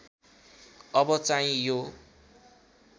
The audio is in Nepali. अब चाहिँ यो